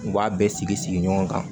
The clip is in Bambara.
U b'a bɛɛ sigi sigi ɲɔgɔn kan